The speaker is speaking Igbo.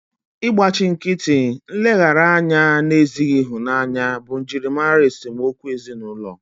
Ịgbachi nkịtị, nleghara anya na ezighị ịhụnanya bụ njirimara esemokwu ezinụlọ